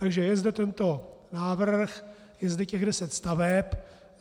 Takže je zde tento návrh, je zde těch deset staveb.